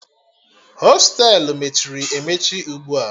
Hostelu mechiri emechi ugbu a